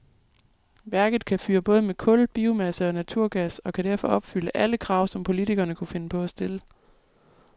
Værket kan fyre med både kul, biomasse og naturgas og kan derfor opfylde alle krav, som politikerne kunne finde på at stille.